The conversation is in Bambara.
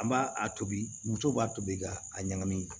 An b'a a tobi muso b'a tobi ka a ɲagami